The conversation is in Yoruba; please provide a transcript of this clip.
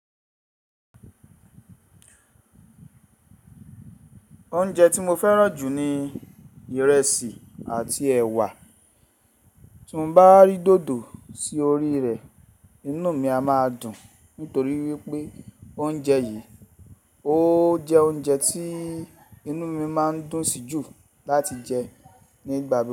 Oúnjẹ tí mo fẹ́ràn jù ni ìrẹsì àti ẹ̀wà. Tí mo bá rí dòdò sí orí rẹ̀, inú mi a máa dùn nítorí wípé oúnjẹ yìí ó jẹ́ oúnjẹ tí inú mi máa ń dùn sì jù láti jẹ ní gba mi.